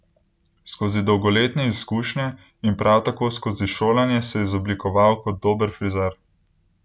Skozi dolgoletne izkušnje in prav tako skozi šolanje se je izoblikoval kot dober frizer.